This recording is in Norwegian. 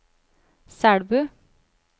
Selbu